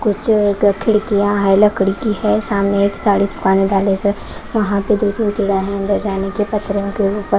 कुछ क खिड़कियां है लकड़ी की है सामने एक साड़ी की दुकान डाले हुए वहां पे दो तीन चौडाहे अंदर जाने के पत्थरों के ऊपर --